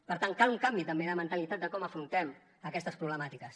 per tant cal un canvi també de mentalitat de com afrontem aquestes problemàtiques